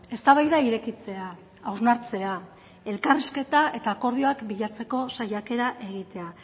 eztabaida irekitzea hausnartzea elkarrizketa eta akordioak bilatzeko saiakera egitea